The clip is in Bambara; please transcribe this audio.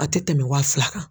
A tɛ tɛmɛn wa fila kan.